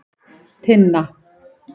Tinna